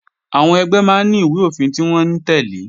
Àwọn ẹgbẹ́ máa ní ìwé-òfin tí wọ́n ń tẹ́lẹ̀